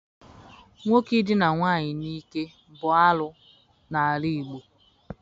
Nwoke idina nwaanyị n'ike bụ arụ n'ala Igbo.